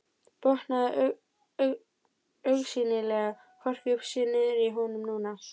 Botnaði augsýnilega hvorki upp né niður í honum núna.